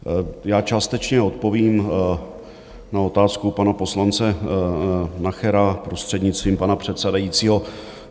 Já částečně odpovím na otázku pana poslance Nachera, prostřednictvím pana předsedajícího.